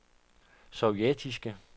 sovjetiske